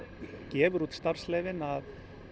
gefur úr starfsleyfin að